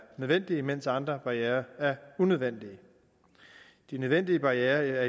nødvendige mens andre barrierer er unødvendige de nødvendige barrierer